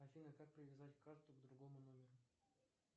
афина как привязать карту к другому номеру